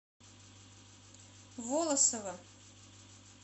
волосово